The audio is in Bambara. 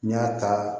N y'a ta